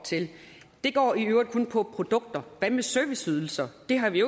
til det går i øvrigt kun på produkter hvad med serviceydelser det har vi